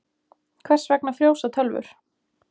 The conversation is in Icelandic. Hvers vegna frjósa tölvur?